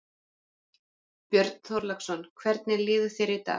Björn Þorláksson: Hvernig líður þér í dag?